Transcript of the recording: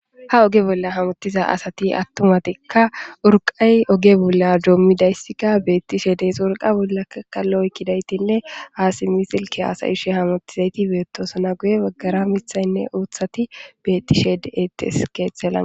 Ha oge bolla hamottiza asati attumatikka urqay oge bolla doommi dayssika beettishe dees wurqa bollaka kallo oykkidaytinne aasi misilki hasayishe hamottizayti beettosona guye baggara mithaynne uuthati bettishe deettes keeththellan.